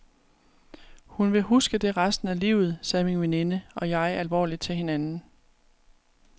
Hun vil huske det resten af livet, sagde min veninde og jeg alvorligt til hinanden.